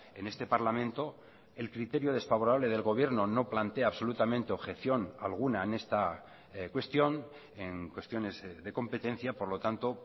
en este parlamento el criterio desfavorable del gobierno no plantea absolutamente objeción alguna en esta cuestión en cuestiones de competencia por lo tanto